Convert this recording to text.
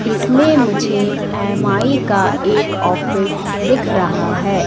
इसमें मुझे एम_आई का एक ऑफिस दिख रहा है।